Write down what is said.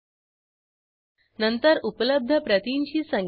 येथे book id username आणि return date checkout टेबलमधे संचित करू